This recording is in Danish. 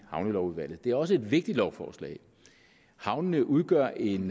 havnelovudvalget det er også et vigtigt lovforslag havnene udgør en